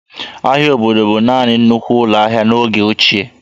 Ahịa obodo bụ naanị nnukwu ụlọ ahịa n'oge ochie